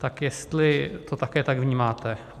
Tak jestli to také tak vnímáte.